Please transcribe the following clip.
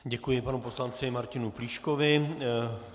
Děkuji panu poslanci Martinu Plíškovi.